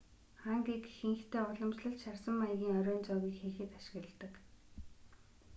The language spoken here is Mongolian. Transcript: хангийг ихэнхдээ уламжлалт шарсан маягийн оройн зоогийг хийхэд ашигладаг